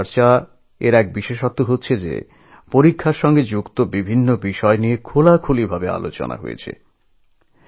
পরীক্ষা পে চর্চার একটা বৈশিষ্ট্য হচ্ছে পরীক্ষা সংক্রান্ত নানান বিষয় নিয়ে এখানে আলোচনা করা যায়